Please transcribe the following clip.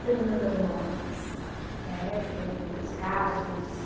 Teve muitas mortes, né, tem os casos.